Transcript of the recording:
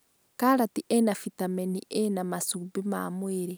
Karati ĩna bitameni A na macumbĩ ma mwĩrĩ